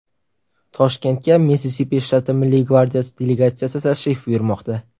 Toshkentga Missisipi shtati Milliy gvardiyasi delegatsiyasi tashrif buyurmoqda.